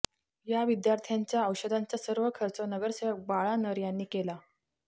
या विद्यार्थ्यांच्या औषधांचा सर्व खर्च नगरसेवक बाळा नर यांनी केला